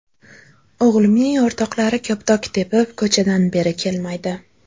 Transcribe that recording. O‘g‘limning o‘rtoqlari koptok tepib, ko‘chadan beri kelmaydi.